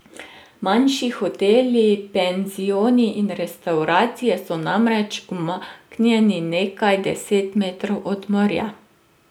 Manjši hoteli, penzioni in restavracije so namreč umaknjeni nekaj deset metrov od morja.